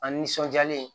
A nisɔnjalen